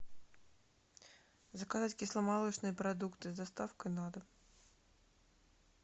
заказать кисломолочные продукты с доставкой на дом